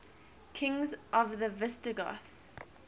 kings of the visigoths